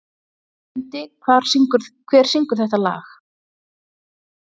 Mundi, hver syngur þetta lag?